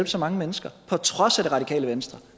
så mange mennesker på trods af det radikale venstre